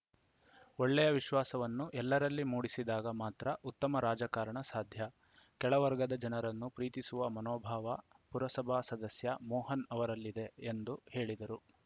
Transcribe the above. ಒಳ್ಳೆಯ ವಿಶ್ವಾಸವನ್ನು ಎಲ್ಲರಲ್ಲಿ ಮೂಡಿಸಿದಾಗ ಮಾತ್ರ ಉತ್ತಮ ರಾಜಕಾರಣ ಸಾಧ್ಯ ಕೆಳವರ್ಗದ ಜನರನ್ನು ಪ್ರೀತಿಸುವ ಮನೋಭಾವ ಪುರಸಭಾ ಸದಸ್ಯ ಮೋಹನ್‌ ಅವರಲ್ಲಿದೆ ಎಂದು ಹೇಳಿದರು